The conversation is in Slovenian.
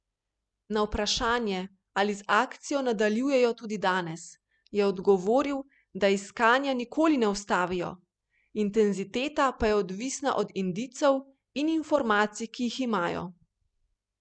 Na vprašanje ali z akcijo nadaljujejo tudi danes, je odgovoril, da iskanja nikoli ne ustavijo, intenziteta pa je odvisna od indicov in informacij, ki jih imajo.